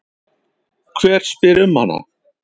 Hver spyr um hana?